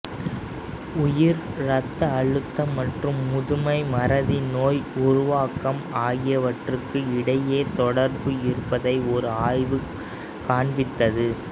உயர் ரத்த அழுத்தம் மற்றும் முதுமை மறதி நோய் உருவாக்கம் ஆகியவற்றுக்கு இடையே தொடர்பு இருப்பதை ஒரு ஆய்வு காண்பித்தது